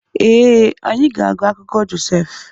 Ee, anyị ga-agụ akụkọ Josef.